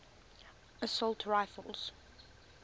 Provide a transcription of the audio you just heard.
assault rifles